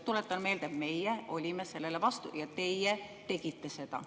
Tuletan meelde, et meie olime sellele vastu ja teie tegite seda.